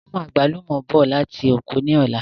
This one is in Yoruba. Mú àgbálùmọ̀ bọ̀ láti oko ni ọ̀la!